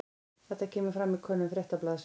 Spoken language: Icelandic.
Þetta kemur fram í könnun Fréttablaðsins